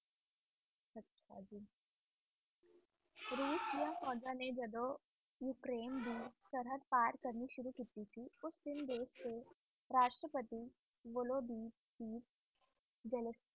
ਰੂਸ ਦੀਆਂ ਫੋਜਜਾਂ ਨੇ ਜੱਦੋ ਉਕਰੀਨੇ ਦੀ ਸਰਹੰਦ ਪਾਰ ਕਰਨ ਦੀ ਕੋਸ਼ਿਸ਼ ਕਿੱਤੀ ਸੀ ਉਸ ਦਿਨ ਰਾਸ਼ਪਤੀ